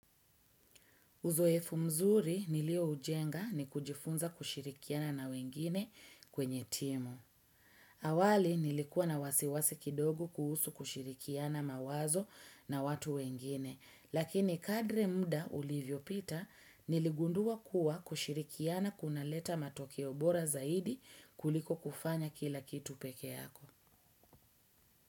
Uzoefu mzuri nilio ujenga ni kujifunza kushirikiana na wengine kwenye timu. Awali nilikuwa na wasiwasi kidogo kuhusu kushirikiana mawazo na watu wengine. Lakini kadri muda ulivyopita, niligundua kuwa kushirikiana kunaleta matokeo bora zaidi kuliko kufanya kila kitu pekee yako.